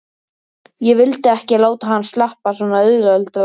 Ég vildi ekki láta hann sleppa svona auðveldlega.